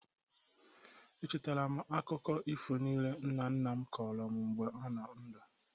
Echetara m akụkọ ifo niile nna nna m kọrọ m mgbe ọ nọ ndụ.